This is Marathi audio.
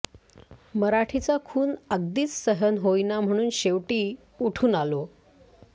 मराठीचा खून अगदीच सहन होईना म्हणून शेवटी उठून आलो